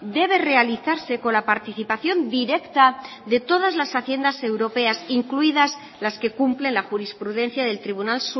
debe realizarse con la participación directa de todas las haciendas europeas incluidas las que cumplen la jurisprudencia del tribunal